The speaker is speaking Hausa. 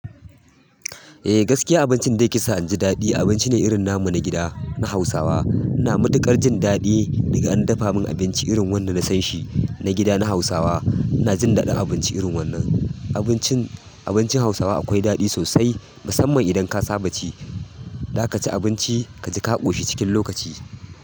Eh gaskiya abincin da ya kisa inji daɗi abinci ne irin namu na gida na Hausawa. Na matuƙar jin daɗi daga an dafa min abinci irin wannan da na san shi na gida na Hausawa. Ina jin daɗin abinci irin wannan. Abincin, abincin Hausawa akwai daɗi sosai musamman idan ka saba ci. Za ka ci abinci ka ji ka ƙoshi cikin lokaci.